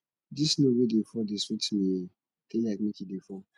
dis snow wey dey fall dey sweet me eh dey like make e dey fall